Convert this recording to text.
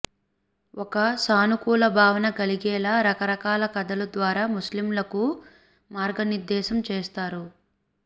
ఒక సానుకూల భావన కలిగేలా రకరకాల కథల ద్వారా ముస్లింలకు మార్గనిర్దేశం చేస్తారు